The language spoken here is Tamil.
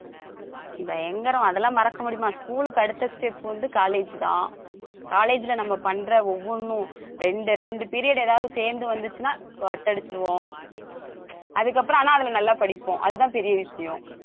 பயங்கரம் அதெல்லாம் மறக்க முடியுமா school க்கு அடுத்த step வந்து college தான் college ல நம்ம பண்ற ஒவ்வொண்ணும் ரெண்டு ரெண்டு period ஏதாவது சேர்ந்து வந்துச்சுன்னா cut அடிச்சிருவோம் அதுக்கப்புறம் ஆனா அதுல நல்லா படிப்போம் அதுதான் பெரிய விஷயம்